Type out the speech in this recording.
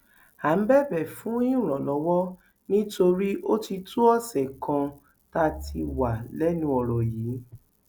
à ń bẹbẹ fún ìrànlọwọ nítorí ó ti tó ọsẹ kan tá a ti wà lẹnu ọrọ yìí